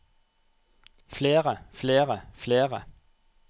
flere flere flere